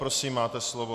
Prosím, máte slovo.